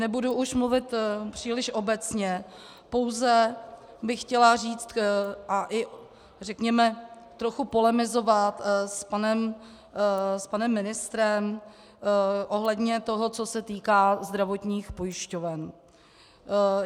Nebudu už mluvit příliš obecně, pouze bych chtěla říct a i řekněme trochu polemizovat s panem ministrem ohledně toho, co se týká zdravotních pojišťoven.